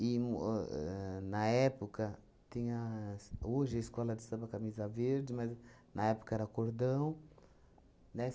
um ahn, na época, tinha as hoje a Escola de Samba Camisa Verde, mas, na época, era Cordão, né?